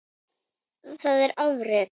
Þetta var afrek.